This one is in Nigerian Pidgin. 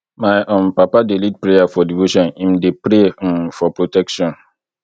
my um papa dey lead prayer for devotion im dey pray um for protection